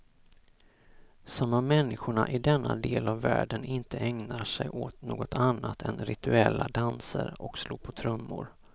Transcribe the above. Som om människorna i denna del av världen inte ägnar sig åt något annat än rituella danser och slå på trummor.